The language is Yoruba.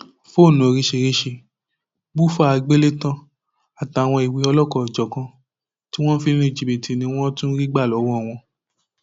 fóònù oríṣìíríṣìí bùfá aláàgbélétan àtàwọn ìwé ọlọkanòjọkan tí wọn fi ń lu jìbìtì ni wọn tún rí gbà lọwọ wọn